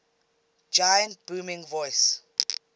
giant's booming voice